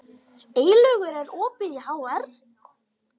Eylaugur, er opið í HR?